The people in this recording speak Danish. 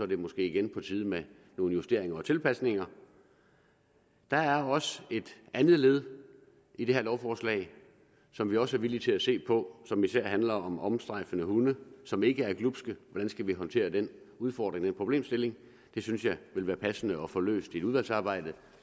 det måske igen på tide med nogle justeringer og tilpasninger der er også et andet led i det her lovforslag som vi også er villige til at se på som især handler om omstrejfende hunde som ikke er glubske hvordan skal vi håndtere den udfordring den problemstilling det synes jeg vil være passende at få løst i et udvalgsarbejde